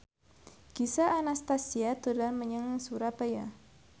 Gisel Anastasia dolan menyang Surabaya